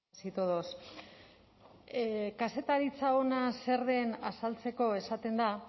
buenos días señora presidenta buenos días a todas y todos kazetaritza ona zer den azaltzeko esaten da